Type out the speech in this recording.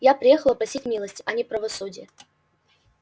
я приехала просить милости а не правосудия